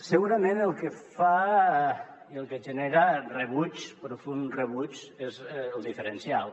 segurament el que genera rebuig profund rebuig és el diferencial